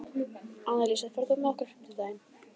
Annalísa, ferð þú með okkur á fimmtudaginn?